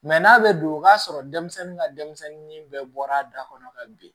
n'a bɛ don o k'a sɔrɔ denmisɛnnin ka denmisɛnnin bɛɛ bɔra da kɔnɔ ka bin